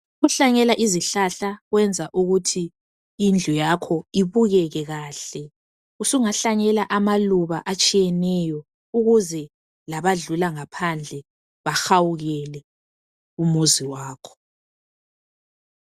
Ukuhlanyela izihlahla kwenza ukuthi indlu yakho ibukeke kahle. Usungahlanyela amaluba atshiyeneyo ukuze labadlula ngaphandle bahawukele umuzi wakho.